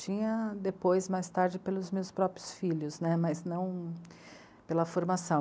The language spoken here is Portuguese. Tinha depois, mais tarde, pelos meus próprios filhos né, mas não pela formação.